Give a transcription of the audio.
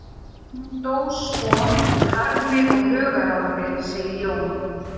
Hún dó svo úr harmi og hugarangri, segir Jón.